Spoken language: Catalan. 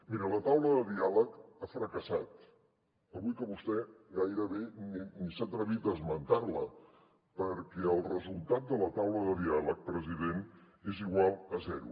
miri la taula de diàleg ha fracassat avui que vostè gairebé ni s’ha atrevit a esmentar la perquè el resultat de la taula de diàleg president és igual a zero